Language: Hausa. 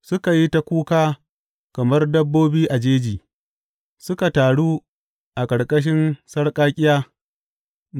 Suka yi ta kuka kamar dabbobi a jeji, suka taru a ƙarƙashin sarƙaƙƙiya.